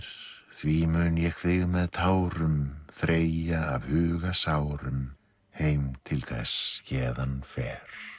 því mun ég þig með tárum þreyja af huga sárum heim til þess héðan fer